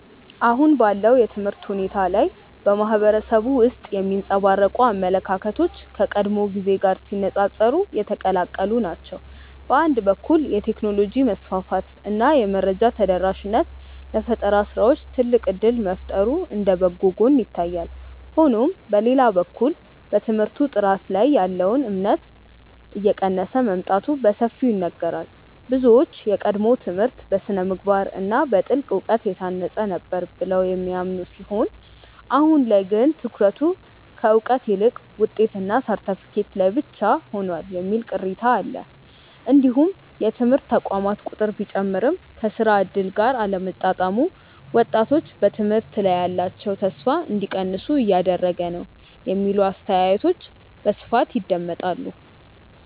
አሁን ባለው የትምህርት ሁኔታ ላይ በማህበረሰቡ ውስጥ የሚንጸባረቁ አመለካከቶች ከቀድሞው ጊዜ ጋር ሲነፃፀሩ የተቀላቀሉ ናቸው። በአንድ በኩል የቴክኖሎጂ መስፋፋት እና የመረጃ ተደራሽነት ለፈጠራ ስራዎች ትልቅ እድል መፍጠሩ እንደ በጎ ጎን ይታያል። ሆኖም በሌላ በኩል በትምህርት ጥራት ላይ ያለው እምነት እየቀነሰ መምጣቱ በሰፊው ይነገራል። ብዙዎች የቀድሞው ትምህርት በስነ-ምግባር እና በጥልቅ እውቀት የታነጸ ነበር ብለው የሚያምኑ ሲሆን አሁን ላይ ግን ትኩረቱ ከእውቀት ይልቅ ውጤትና ሰርተፍኬት ላይ ብቻ ሆኗል የሚል ቅሬታ አለ። እንዲሁም የትምህርት ተቋማት ቁጥር ቢጨምርም ከስራ እድል ጋር አለመጣጣሙ ወጣቶች በትምህርት ላይ ያላቸውን ተስፋ እንዲቀንሱ እያደረገ ነው የሚሉ አስተያየቶች በስፋት ይደመጣሉ።